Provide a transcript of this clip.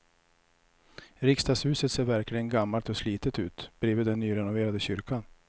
Riksdagshuset ser verkligen gammalt och slitet ut bredvid den nyrenoverade kyrkan.